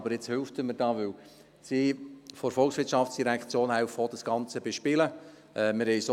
Aber jetzt hilft er mir hier, weil die VOL auch das Ganze bespielen hilft.